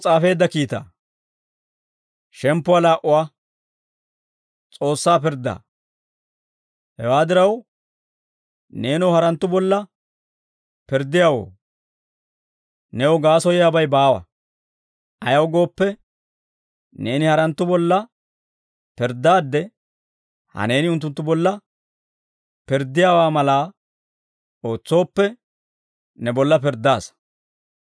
Hewaa diraw, neenoo haranttu bolla pirddiyaawoo, new gaasoyiyaabay baawa; ayaw gooppe, neeni haranttu bolla pirddaadde, he neeni unttunttu bolla pirddiyaawaa malaa ootsooppe, ne bolla pirddaasa.